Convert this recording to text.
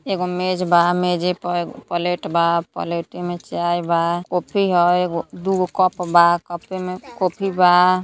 एगो मेज बा। मेजे प एग् पलेट बा। पलेटे में चाय बा। कॉफी ह। एगो दूगो कप बा। कपे में कॉफी बा।